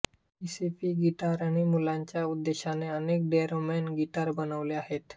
ESP गिटारने मुलांच्या उद्देशाने अनेक डोरेमॉन गिटार बनवले आहेत